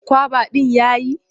Kwaba ɗin ya yi.